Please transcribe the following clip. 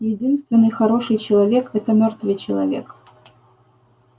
единственный хороший человек это мёртвый человек